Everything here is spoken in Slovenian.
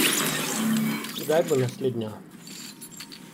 Kdaj bo naslednja?